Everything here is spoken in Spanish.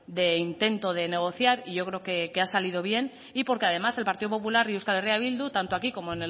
de intento de negociar y yo creo que ha salido bien y porque además el partido popular y euskal herria bildu tanto aquí como